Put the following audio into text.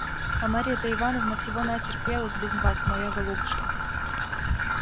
а марья-то ивановна всего натерпелась без вас моя голубушка